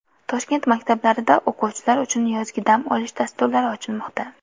Toshkent maktablarida o‘quvchilar uchun yozgi dam olish dasturlari ochilmoqda.